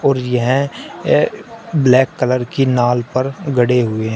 और यह black colour की नाल पर गड़े हुए हैं।